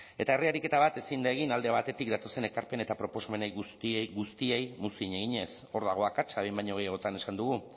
eta herri ariketa bat ezin da egin alde batetik datozen ekarpen eta proposamenei guztiei guztiei muzin eginez hor dago akatsa behin baino gehiagotan esan dugu